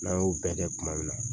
N'a y'o bɛɛ kɛ tuma min na